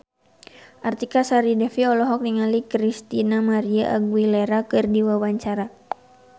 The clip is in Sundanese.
Artika Sari Devi olohok ningali Christina María Aguilera keur diwawancara